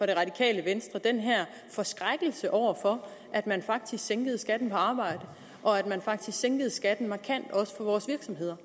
det radikale venstre den her forskrækkelse over for at man faktisk sænkede skatten på arbejde og at man faktisk også sænkede skatten for vores virksomheder